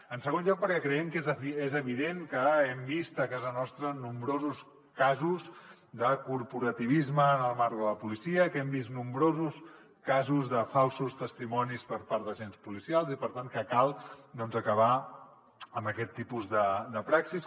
en segon lloc perquè creiem que és evident que hem vist a casa nostra nombrosos casos de corporativisme en el marc de la policia que hem vist nombrosos casos de falsos testimonis per part d’agents policials i per tant que cal doncs acabar amb aquest tipus de praxis